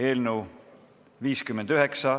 Eelnõu on 59.